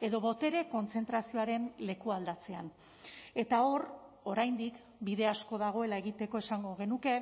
edo botere kontzentrazioaren lekualdatzean eta hor oraindik bide asko dagoela egiteko esango genuke